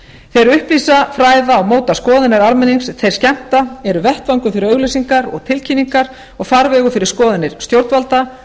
þeir upplýsa fræða og móta skoðanir almennings þeir skemmta eru vettvangur fyrir auglýsingar og tilkynningar og farvegur fyrir skoðanir stjórnvalda